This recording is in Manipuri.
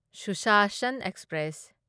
ꯁꯨꯁꯥꯁꯟ ꯑꯦꯛꯁꯄ꯭ꯔꯦꯁ